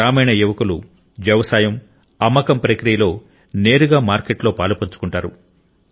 గ్రామీణ యువకులు వ్యవసాయం అమ్మకం ప్రక్రియలో నేరుగా మార్కెట్లో పాలుపంచుకుంటారు